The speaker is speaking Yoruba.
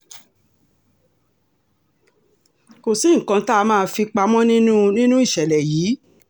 kò sí nǹkan tá a máa fi pamọ nínú nínú ìṣẹ̀lẹ̀ yìí